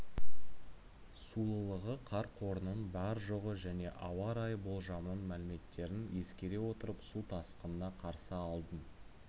сулылығы қар қорының бар-жоғы және ауа райы болжамының мәліметтерін ескере отырып су тасқынына қарсы алдын